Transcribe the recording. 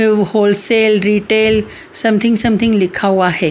AU wholesale retail something something लिखा हुआ है।